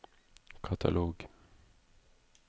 katalog